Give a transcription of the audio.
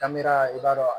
i b'a dɔn